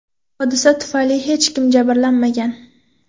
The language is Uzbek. Hodisa tufayli hech kim jabrlanmagan.